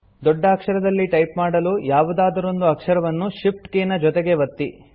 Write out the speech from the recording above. ದೊಡ್ಡ ಅಕ್ಷರದಲ್ಲಿ ಟೈಪ್ ಮಾಡಲು ಯಾವುದಾದರೊಂದು ಅಕ್ಷರವನ್ನು Shift ಕೀ ನ ಜೊತೆಗೆ ಒತ್ತಿ